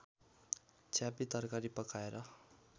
छ्यापी तरकारी पकाएर